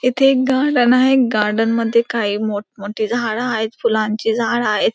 इथे एक गार्डन आहे. गार्डन मध्ये काही मोठमोठे झाडं आहेत. फुलांची झाडं आहेत.